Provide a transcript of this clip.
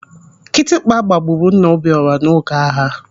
Kịtịkpa gbagburu nna Obiọra n'oge agha.